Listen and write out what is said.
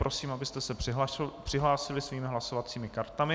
Prosím, abyste se přihlásili svými hlasovacími kartami.